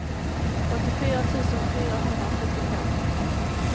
åttiofyra tusen fyrahundrasjuttiofem